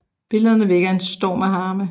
Billederne vækkede en storm af harme